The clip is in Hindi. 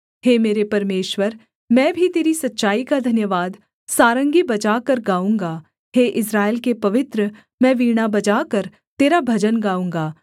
हे मेरे परमेश्वर मैं भी तेरी सच्चाई का धन्यवाद सारंगी बजाकर गाऊँगा हे इस्राएल के पवित्र मैं वीणा बजाकर तेरा भजन गाऊँगा